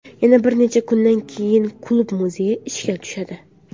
Yana bir necha kundan keyin klub muzeyi ishga tushadi.